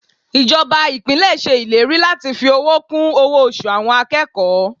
Ìjọba Ìpínlẹ̀ ṣe ìlérí láti fi owó kún owó oṣù àwọn akẹ́kọ̀ọ́.